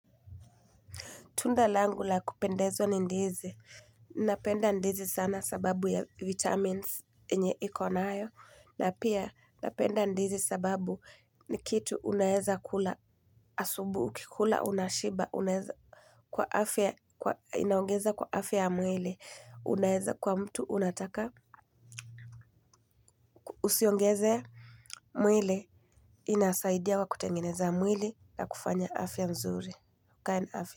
Tunda langu la kupendezwa ni ndizi. Napenda ndizi sana sababu ya vitamins yenye iko nayo. Na pia napenda ndizi sababu ni kitu unaeza kula asubuhi, ukikula unashiba, unaeza kwa afya, inaongeza kwa afya ya mwili, unaeza kwa mtu, unataka usiongeze. Mwili inasaidia kwa kutengeneza mwili na kufanya afya nzuri.